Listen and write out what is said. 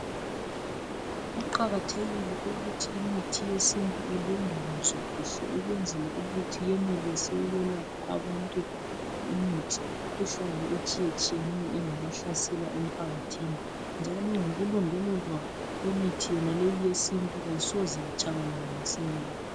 Kuqakathekile ukuthi imithi yesintu ilondolozwe kuhle ukwenzela ukuthi yenelise ukulapha abantu imithi imikhuhlane etshiya etshiyeneyo engaba hlasela emphakathini. Njalo ngoku londolozwa kwemithi leyi yesintu ayisoze yatshabalala masinyane.